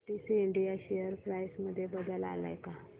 PTC India share price मध्ये बदल आलाय का